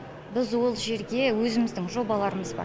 біз ол жерге өзіміздің жобаларымыз бар